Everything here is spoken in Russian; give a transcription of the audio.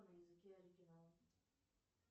на языке оригинала